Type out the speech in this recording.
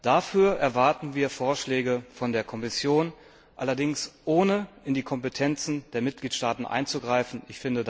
Dafür erwarten wir Vorschläge von der Kommission, die allerdings nicht in die Kompetenzen der Mitgliedstaaten eingreifen dürfen.